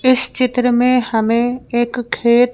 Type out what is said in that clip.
इस चित्र मे हमे एक खेत--